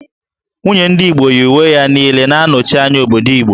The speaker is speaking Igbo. Nwunye ndị Igbo yi uwe ya niile na-anọchi anya obodo Igbo